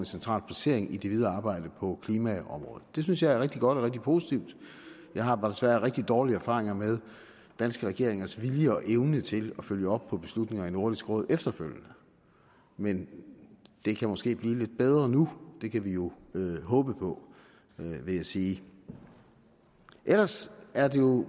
central placering i det videre arbejde på klimaområdet det synes jeg er rigtig godt og rigtig positivt jeg har bare desværre rigtig dårlige erfaringer med danske regeringers vilje og evne til at følge op på beslutninger i nordisk råd efterfølgende men det kan måske blive lidt bedre nu det kan vi jo håbe på vil jeg sige ellers er det jo